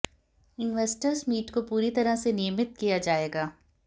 investors meet को पूरी तरह से नियमित किया जाएगा